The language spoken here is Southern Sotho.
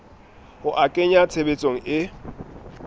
ho a kenya tshebetsong e